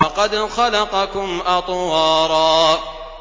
وَقَدْ خَلَقَكُمْ أَطْوَارًا